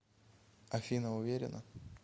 афина уверена